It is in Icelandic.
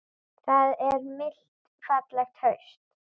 Það er milt fallegt haust.